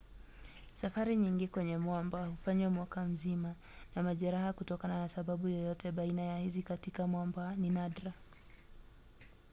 safari nyingi kwenye mwamba hufanywa mwaka mzima na majeraha kutokana na sababu yoyote baina ya hizi katika mwamba ni nadra